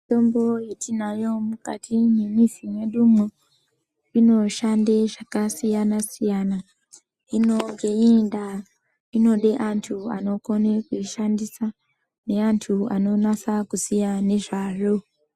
Mitombo yetinayo mukati mwemizi mwedumo inoshande zvakasiyana siyana hino ngeiyi ndaa inode antu anokone kuishandisa neantu anonasa kuziye ngezvazvo.